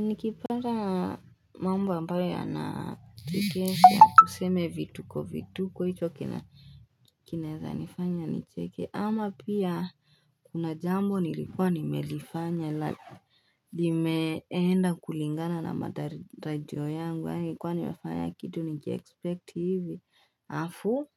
Ni kipata mambo ambayo ya na tikesi ya tuseme vituko vituko hicho kina kinaweza nifanya nicheke ama pia kuna jambo nilikuwa nimelifanya la like limeenda kulingana na matarajio yangu au nilikuwa nimefanya kitu nikiexpect hivi halafu